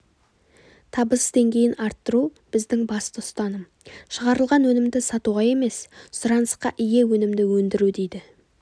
табыс деңгейін арттыру біздің басты ұстаным шығарылған өнімді сатуға емес сұранысқа ие өнімді өндіру дейді